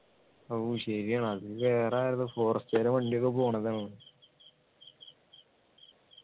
ഓ ശരിയാണ് അത് വേറെ ആരെതോ forest കാരുടെ വണ്ടിയൊക്കെ പോണതാണ്